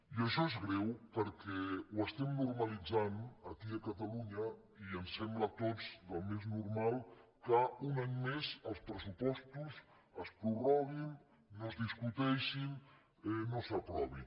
i això és greu perquè ho estem normalitzant aquí a catalunya i ens sembla a tots el més normal que un any més els pressupostos es prorroguin no es discuteixin no s’aprovin